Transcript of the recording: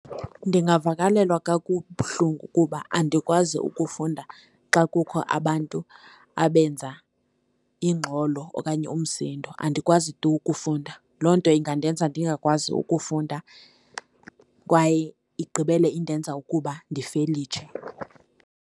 Ndingavakalelwa kabuhlungu kuba andikwazi ukufunda xa kukho abantu abenza ingxolo okanye umsindo, andikwazi tu ukufunda. Loo nto ingandenza ndingakwazi ukufunda kwaye igqibele indenza ukuba ndifelitshe.